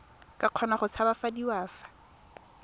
ka kgona go tshabafadiwa fa